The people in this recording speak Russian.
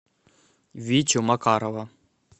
витю макарова